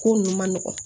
Ko nunnu ma nɔgɔn